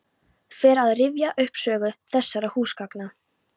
Fer að rifja upp sögu þessara húsgagna.